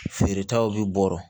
Feeretaw bɛ bɔrɔ